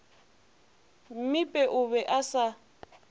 mmipe o be a sa